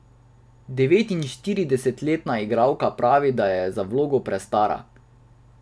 Devetinštiridesetletna igralka pravi, da je za vlogo prestara.